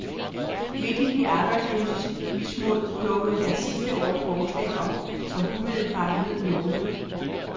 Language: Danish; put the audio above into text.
Midt i de arbejdsløses mismod dukkede der sidste år et forslag op, som umiddelbart lød lovende.